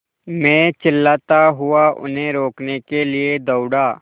मैं चिल्लाता हुआ उन्हें रोकने के लिए दौड़ा